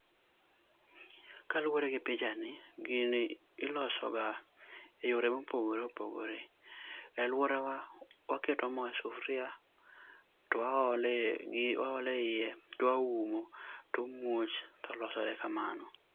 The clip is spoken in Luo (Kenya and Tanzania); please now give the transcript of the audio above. ka luore gi picha ni gini i lose e yore ma opogore opogore e aluora wa waketo moo e sufria to waolo moo e iye to waumo to omuoch to olosore kamano.